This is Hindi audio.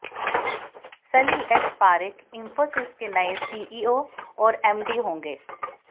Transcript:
सलिल एस पारेख इंफोसिस के नए सीईओ और एमडी होंगे